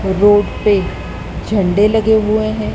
Road पे झंडे लगे हुए हैं।